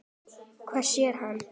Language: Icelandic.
Hvað sér hann?